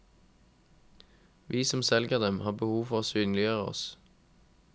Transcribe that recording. Vi som selger dem, har behov for å synliggjøre oss.